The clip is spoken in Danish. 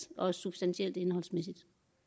og substantielt indholdsmæssigt